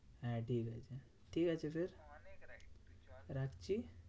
হ্যাঁ ঠিকাছে? ঠিক আছে ফের রাখছি।